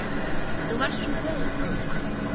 Þú varst svo góður bróðir.